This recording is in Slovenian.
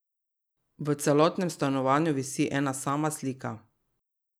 V celotnem stanovanju visi ena sama slika.